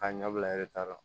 K'a ɲɛ bila eretari la